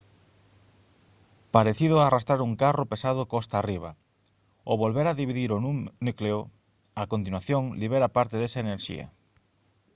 parecido a arrastrar un carro pesado costa arriba ao volver a dividir o núcleo a continuación libera parte desa enerxía